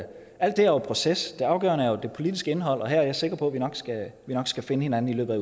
er jo proces det afgørende er det politiske indhold og her er jeg sikker på at vi nok skal finde hinanden i løbet